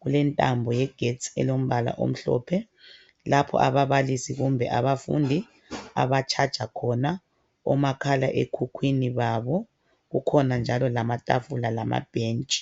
kulentambo yegetsi elombala omhlophe lapho ababalisi kumbe abafundi abatshaja khona omakhala okhukhwini babo. Kukhona njalo lamatafula lamabhentshi.